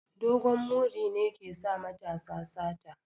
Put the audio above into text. Dogon muri ne ke sa matasa sata